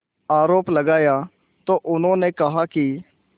आरोप लगाया तो उन्होंने कहा कि